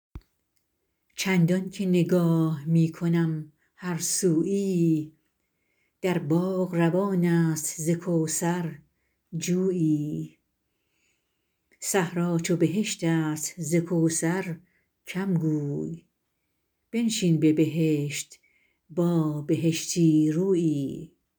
چندان که نگاه می کنم هر سویی در باغ روان است ز کوثر جویی صحرا چو بهشت است ز کوثر کم گوی بنشین به بهشت با بهشتی رویی